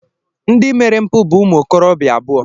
Ndị mere mpụ bụ ụmụ okorobịa abụọ.